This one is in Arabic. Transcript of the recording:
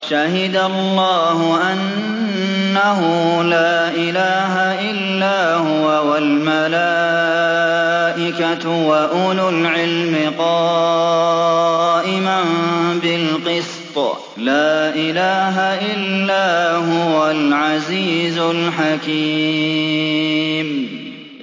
شَهِدَ اللَّهُ أَنَّهُ لَا إِلَٰهَ إِلَّا هُوَ وَالْمَلَائِكَةُ وَأُولُو الْعِلْمِ قَائِمًا بِالْقِسْطِ ۚ لَا إِلَٰهَ إِلَّا هُوَ الْعَزِيزُ الْحَكِيمُ